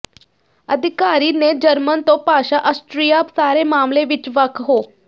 ਅਧਿਕਾਰੀ ਨੇ ਜਰਮਨ ਤੋ ਭਾਸ਼ਾ ਆਸਟ੍ਰੀਆ ਸਾਰੇ ਮਾਮਲੇ ਵਿਚ ਵੱਖ ਹੋ